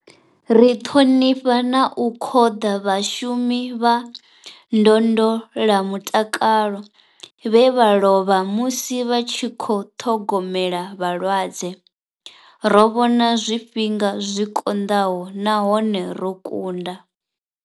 Ri ṱhonifha na u khoḓa vhashumi vha ndondola mutakalo vhe vha lovha musi vha tshi khou ṱhogomela vhalwadze. Ro vhona zwifhinga zwi konḓaho nahone ro kunda.